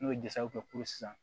N'o ye kɛ kuru sisan